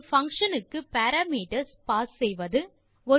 4ஒரு function க்கு parameters pass செய்வது